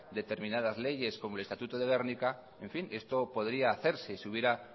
determinadas leyes como el estatuto de gernika en fin esto podría hacerse si hubiera